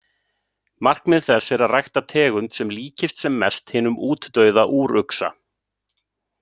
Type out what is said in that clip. Markmið þess er að rækta tegund sem líkist sem mest hinum útdauða úruxa.